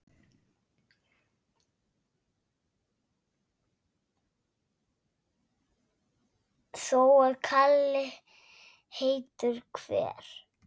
Þó að kali heitur hver